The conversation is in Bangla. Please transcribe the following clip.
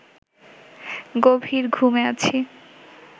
গভীর ঘুমে আছি